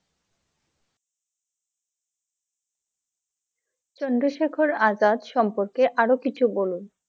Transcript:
চন্দ্রশেখর আজাদ সম্পর্কে আর কিছু বলুন?